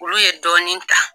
Olu ye dɔɔnin ta.